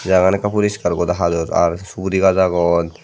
jagagan ekka poriskar goda hajor ar suguri gaj agon.